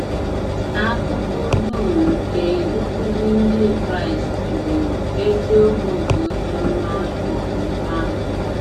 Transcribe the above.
Akụkụ dum nke nkuzi Ndị Kraịst bụ “ eziokwu nke ozi ọma um ahụ. ”